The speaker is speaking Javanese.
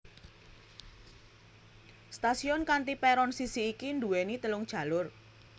Stasiun kanthi peron sisi iki duweni telung jalur